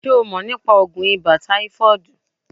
Ṣé o mọ̀ nípa oògùn ibà táífọ̀ọ̀dù?